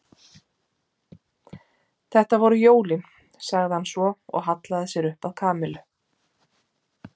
Þetta voru jólin sagði hann svo og hallaði sér upp að Kamillu.